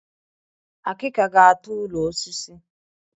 Ọkụ ga-ata ụlọ osisi